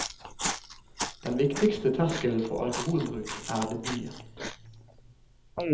Den viktigste terskelen for alkoholbruk er debuten.